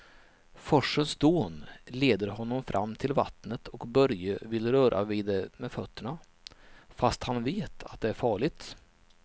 Forsens dån leder honom fram till vattnet och Börje vill röra vid det med fötterna, fast han vet att det är farligt.